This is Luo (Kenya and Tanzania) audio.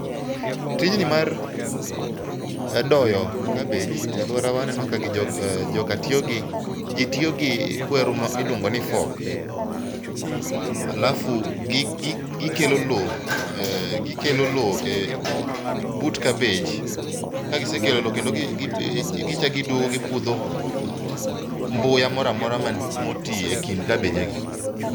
Tijni mar doyo kabej. E alwora wa aneno ka joka tiyo gi, ji tiyo gi kweru miluongo ni fork. Alafu gikelo loo, gikelo loo e but kabej. Kagisekelo loo kendo gichak giduogo gipudho mbuya moramora man motii e kind kabeje gi.